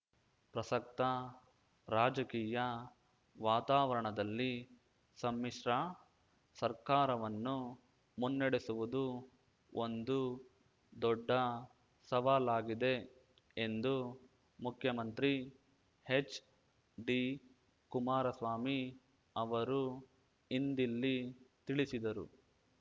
ಪ್ರಸಕ್ತ ರಾಜಕೀಯ ವಾತಾವರಣದಲ್ಲಿ ಸಮ್ಮಿಶ್ರ ಸರ್ಕಾರವನ್ನು ಮುನ್ನಡೆಸುವುದು ಒಂದು ದೊಡ್ಡ ಸವಾಲಾಗಿದೆ ಎಂದು ಮುಖ್ಯಮಂತ್ರಿ ಹೆಚ್ಡಿ ಕುಮಾರಸ್ವಾಮಿ ಅವರು ಇಂದಿಲ್ಲಿ ತಿಳಿಸಿದರು